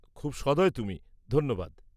খুব সদয় তুমি, ধন্যবাদ।